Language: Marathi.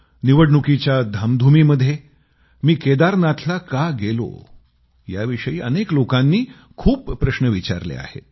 निवडणुकीच्या धामधुमीमध्ये मी केदारनाथला का गेलो याविषयी अनेक लोकांनी खूप सारे प्रश्न विचारले आहेत